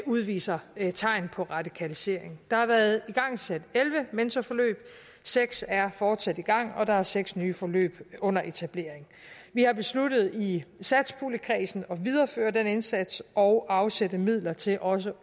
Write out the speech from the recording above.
udviser tegn på radikalisering der har været igangsat elleve mentorforløb seks er fortsat i gang og der er seks nye forløb under etablering vi har besluttet i satspuljekredsen at videreføre den indsats og afsætte midler til også